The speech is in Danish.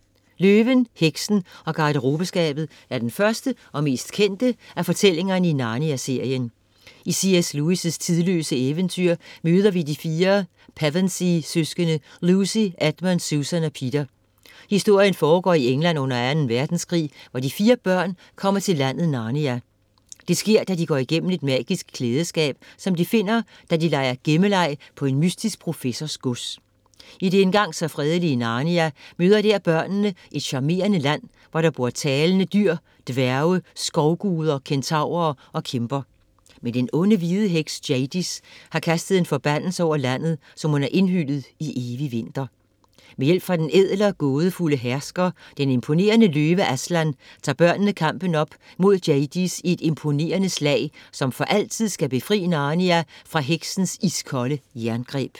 Løven, Heksen og Garderobeskabet er den første og mest kendte af fortælling i Narnia-serien. I C.S. Lewis' tidløse eventyr møder vi de fire Pevensie-søskende Lucy, Edmund, Susan og Peter. Historien foregår i England under 2. Verdenskrig, hvor de fire børn kommer til landet Narnia. Det sker da de går igennem et magisk klædeskab, som de finder, da de leger gemmeleg på en mystisk professors gods. I det engang så fredelige Narnia møder der børnene et charmerende land, hvor der bor talende dyr, dværge, skovguder, kentaurer og kæmper. Men den onde, hvide heks Jadis har kastet en forbandelse over landet, som hun har indhyllet i evig vinter. Med hjælp fra den ædle og gådefulde hersker, den imponerende løve Aslan, tager børnene kampen op mod Jadis i et imponerende slag, som for altid skal befri Narnia fra heksens iskolde jerngreb.